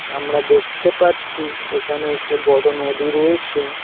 আমরা দেখতে পাচ্ছি একানে একটি বড় নদী রয়েছে।